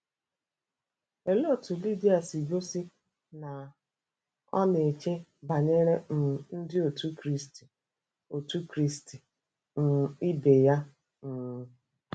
Olee otú Lidia si gosi na ọ na-eche banyere um Ndị Otù Kristi Otù Kristi um ibe ya? um